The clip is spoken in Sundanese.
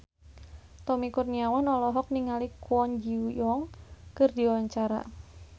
Tommy Kurniawan olohok ningali Kwon Ji Yong keur diwawancara